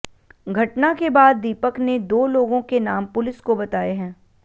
घटना के बाद दीपक ने दो लोगों के नाम पुलिस को बताए है